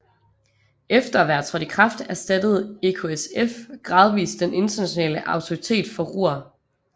Efter at være trådt i kraft erstattede EKSF gradvist den Internationale Autoritet for Ruhr